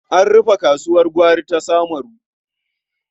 An rufe kasuwar gwari ta Samaru.